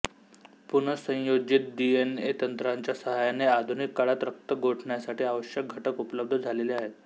पुनसंयोजित DNA तंत्राच्या सहाय्याने आधुनिक काळात रक्त गोठण्यासाठी आवश्यक घटक उपलब्ध झालेले आहेत